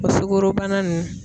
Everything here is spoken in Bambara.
O sugorobana nunnu.